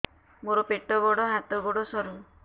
ମୋର ପେଟ ବଡ ହାତ ଗୋଡ ସରୁ